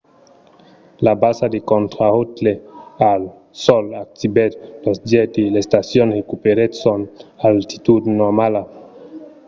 la basa de contraròtle al sòl activèt los jets e l'estacion recuperèt son altitud normala